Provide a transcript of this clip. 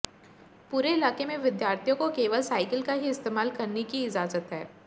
पूरे इलाके में विद्यार्थियों को केवल साइकिल का ही इस्तेमाल करनी की इजाजत है